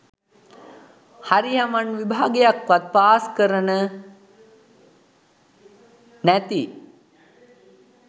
හරි හමන් විභාගයක්වත් පාස් කරන නැති